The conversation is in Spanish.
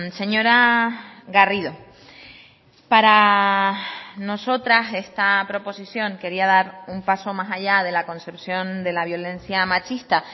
señora garrido para nosotras esta proposición quería dar un paso más allá de la concepción de la violencia machista